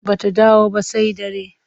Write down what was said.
Ba ta dawo ba sai dare.